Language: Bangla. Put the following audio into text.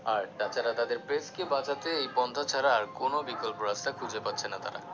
আর তাছাড়া তাঁদের press কে বাঁচাতে এই পন্থা ছাড়া আর কোনও বিকল্প রাস্তা খুঁজে পাচ্ছেনা তারা